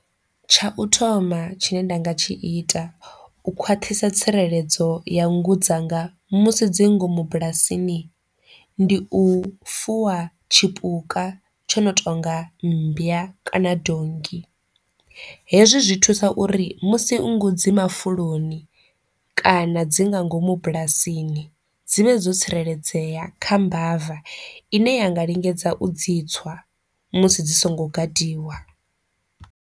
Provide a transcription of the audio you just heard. Tsha u thoma tshine nda nga tshi ita u khwaṱhisa tsireledzo ya nngu dzanga musi dzi ngomu bulasini ndi u fuwa tshipuka tsho no tonga mmbwa kana donngi, hezwi zwi thusa uri musi nngu dzi mafuloni kana dzi nga ngomu bulasini dzivhe dzo tsireledzea kha mbava ine ya nga lingedza u dzi tswa musi dzi songo gadiwa.